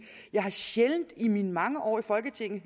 jeg sjældent i mine mange år i folketinget